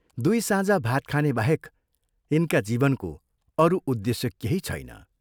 दुइ साँझ भात खाने बाहेक यिनका जीवनको अरू उद्देश्य केही छैन।